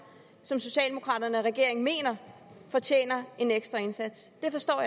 som socialdemokraterne og regeringen mener fortjener en ekstra indsats det forstår